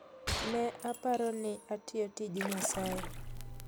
"Ne aparoni atiyo tij nyasaye.